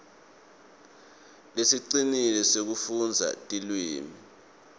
lesicinile sekufundza tilwimi